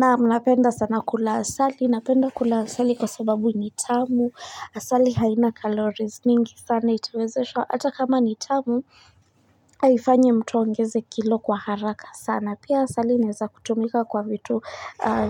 Naam napenda sana kula asali, napenda kula asali kwa sababu nitamu, asali haina calories nyingi sana itawezesha, ata kama nitamu haifanyi mtu aongeze kilo kwa haraka sana. Na pia asali inaweza kutumika kwa vitu